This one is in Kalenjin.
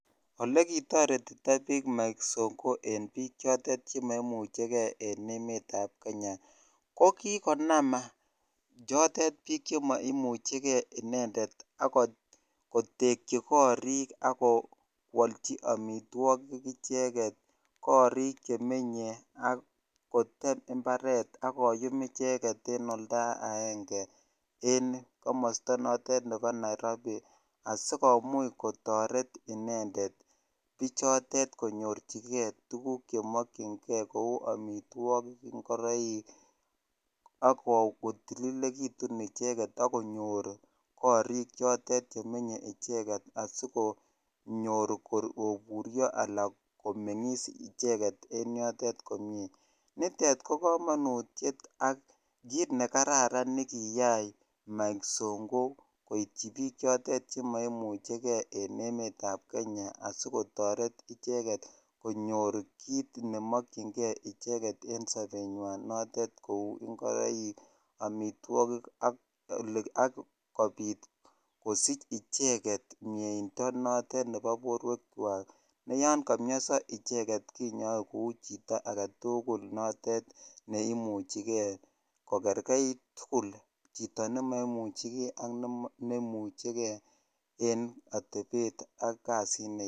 Olekitoretito biik Mike Sonko en biik chotet chemoimucheke en emetab Kenya kokikonam biik chotet biik chemoimucheke inendet ak kotekyi korik ak kowolchi omitwokik icheket korik chemenye ak kotet imbaret ak koyum icheket en olda aenge en komosto notet nebo nairobi asikomuch kotoret inendet bichotet konyorchike tukuk chemokying'e kouu amitwokik ng'oroik ak kotililekitun icheket ak konyor korik chotet chemenye icheket asikonyor koburio alaan komeng'is icheket en yotet komnye, nitet ko komonutiet ak kiit nekararan nekiyai Mike Songo koityi biik chotet chemoimucheke en emetab Kenya asikotoret icheket konyor kiit nemokying'e en sobenywan notet kouu ing'oroik amitwokik ak kobiit kosich icheket mieindo notet nebo borwekwak ne yoon komioso icheket kinyoe kou chito aketukul notet neimuchike ko kerkeit tukul chito nemoimucheke ak nemucheke en atebet ak kasit neyoe.